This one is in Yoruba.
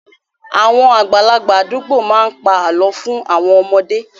Àwọn àgbàlagbà àdúgbò má ń pa àlọ́ fún àwọn ọmọdé